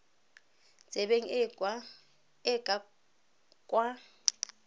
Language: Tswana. tsebeng e e ka kwa